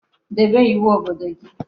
Debe iwu obodo gi